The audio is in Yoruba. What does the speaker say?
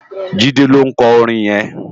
Jide ló nkò órin yèn